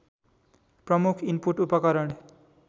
प्रमुख इनपुट उपकरण